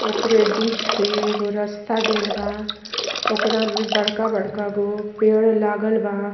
ओकरे बीच से एगो रास्ता गेल बा ओकरा में बड़का-बड़का गो पेड़ लागल बा।